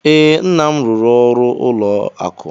Ee, nna m rụrụ ọrụ ụlọ akụ.